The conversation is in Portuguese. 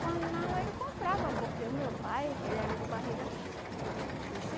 Quando não, ele comprava, porque o meu pai, ele era de barriga cheia, olha.